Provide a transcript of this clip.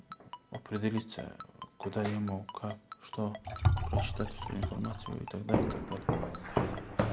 определиться куда ему как что прочитать всю информацию и так далее и так далее